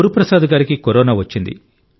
గురుప్రసాద్ గారికి కరోనా వచ్చింది